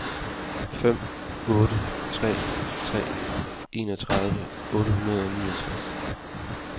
fem otte tre tre enogtredive otte hundrede og niogtres